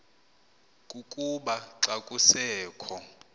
kukuba xa kusekho